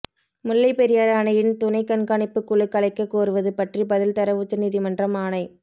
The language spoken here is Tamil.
முல்லைப்பெரியாறு அணையின் துணை கண்காணிப்பு குழு கலைக்க கோருவது பற்றி பதில் தர உச்சநீதிமன்றம் ஆணை